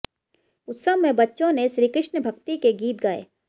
उत्सव में बच्चों ने श्रीकृष्ण भक्ति के गीत गाये